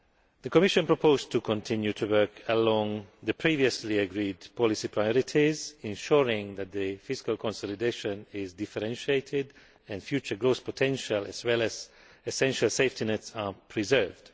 The Commission proposed to continue to work along the previously agreed policy priorities, ensuring that the fiscal consolidation is differentiated and future growth potential, as well as essential safety nets, are preserved.